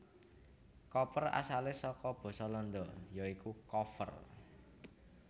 Koper asalé saka basa Landa ya iku koffer